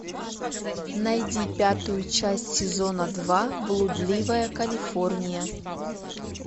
найди пятую часть сезона два блудливая калифорния